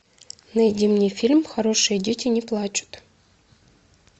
найди мне фильм хорошие дети не плачут